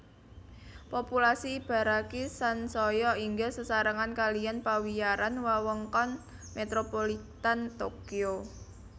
Populasi Ibaraki sansaya inggil sesarengan kalihan pawiyaran Wewengkon Metropolitan Tokyo